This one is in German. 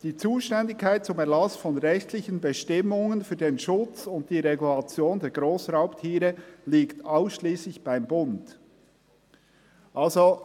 «Die Zuständigkeit zum Erlass von rechtlichen Bestimmungen für den Schutz und die Regulation der Grossraubtiere liegt ausschliesslich beim Bund.»